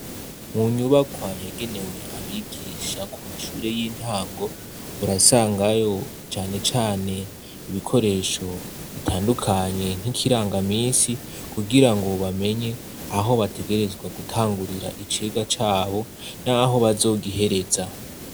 Mu nyubaka yagenewe abigisha ku mashure y'intango .Urasangayo cane cane ibikoresho bitandukanye nk'ikirangaminsi kugira ngo bamenye aho bategerezwa gutangurira icigwa Cabo n'aho bazogihereza.